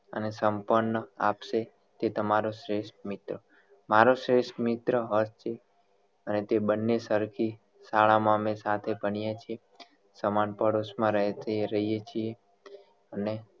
અને આપશે તે ત્તમરો શ્રેષ્ઠ મિત્ર મારો શ્રેષ્ઠ મિત્ર હર્ષ છે અને તે બંને સરખી શાળા માં અમે સાથે ભણીએ છીએ સમાન પડોશ માં રે રહીએ છીએ અને